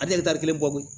A tɛ kelen bɔ koyi